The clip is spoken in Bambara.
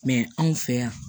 anw fɛ yan